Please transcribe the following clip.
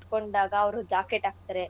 ಕೂತ್ಕೊಂಡಾಗ ಅವ್ರು jacket ಆಕ್ತಾರೆ